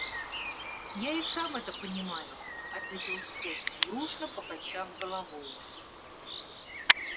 я и сам это понимаю ответил скотт грустно покачав головой